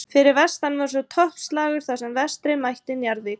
Fyrir vestan var svo toppslagur þar sem Vestri mætti Njarðvík.